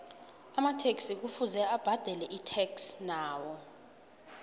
amataxi kuvuze abadele itax nawo